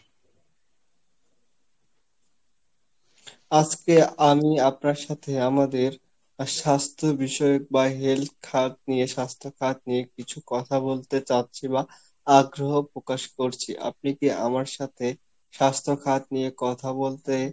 আজকে আমি আপনার সাথে আমাদের স্বাস্থ্য বিষয়ক বা health খাদ নিয়ে স্বাস্থ্য খাদ নিয়ে কিছু কথা বলতে চাচ্ছি বা আগ্রহ প্রকাশ করছি আপনি কি আমার সাথে স্বাস্থ্য খাদ নিয়ে কথা বলতে